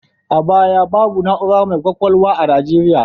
A baya, babu na'ura mai ƙwaƙwalwa a Nigeriya.